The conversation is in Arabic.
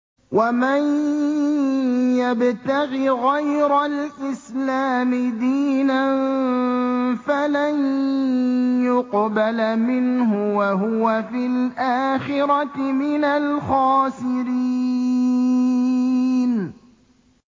وَمَن يَبْتَغِ غَيْرَ الْإِسْلَامِ دِينًا فَلَن يُقْبَلَ مِنْهُ وَهُوَ فِي الْآخِرَةِ مِنَ الْخَاسِرِينَ